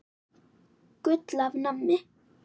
Gull af manni.